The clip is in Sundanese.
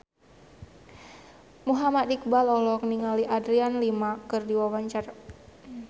Muhammad Iqbal olohok ningali Adriana Lima keur diwawancara